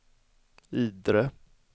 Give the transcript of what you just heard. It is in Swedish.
Idre